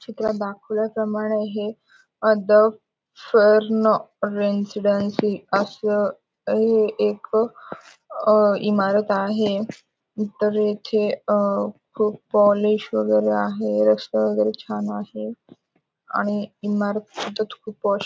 चित्रात दाखवल्याप्रमाणे हे अदब सर नो रेसिडेन्सी असं हे एक अं इमारत आहे. उत्तरेचे अं क कॉलेज वगैरे आहे. रस्ता वगैरे छान आहे आणि इमारती तर खूप पॉश --